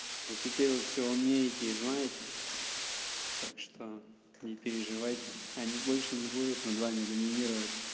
вот теперь вы всё умеете и знаете так что не переживайте они больше не будут над вами доминировать